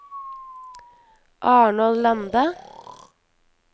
Arnold Lande